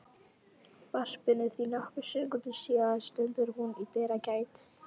varpinu því nokkrum sekúndum síðar stendur hún í dyragætt